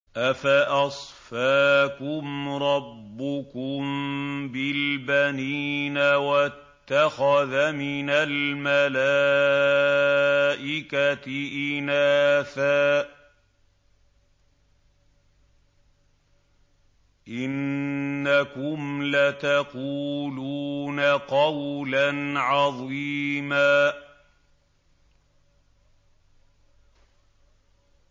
أَفَأَصْفَاكُمْ رَبُّكُم بِالْبَنِينَ وَاتَّخَذَ مِنَ الْمَلَائِكَةِ إِنَاثًا ۚ إِنَّكُمْ لَتَقُولُونَ قَوْلًا عَظِيمًا